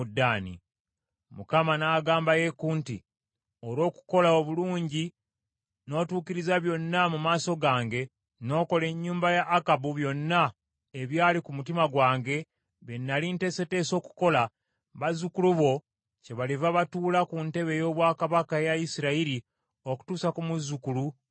Mukama n’agamba Yeeku nti, “Olw’okukola obulungi n’otuukiriza byonna mu maaso gange, n’okola ennyumba ya Akabu byonna ebyali ku mutima gwange bye nnali nteeseteese okukola, bazzukulu bo kyebaliva batuula ku ntebe ey’obwakabaka eya Isirayiri okutuusa ku muzzukulu owa nnakana.”